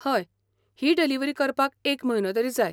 हय, ही डिलीव्हरी करपाक एक म्हयनो तरी जाय.